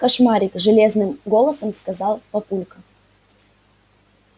кошмарик железным голосом сказал папулька